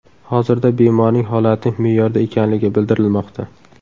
Hozirda bemorning holati me’yorda ekanligi bildirilmoqda.